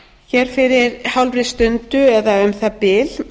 hér fyrir hálfri stundu eða um það bil